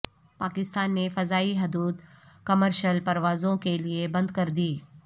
پاکستان نے فضائی حدود کمرشل پروازوں کے لیے بند کر دی